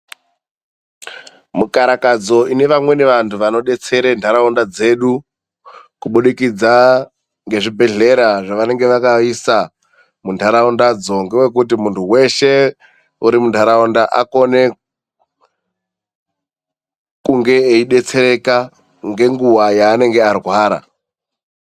Mukarakadzo ine vamweni vantu vanodetsera nharaunda dzedu kubudikidza ngezvibhedhlera zvavanenge vakaisa muntaraundadzo ngewekuti muntu weshe uri muntaraunda akone kunge eibetsereka ngenguva yaanenge arwara.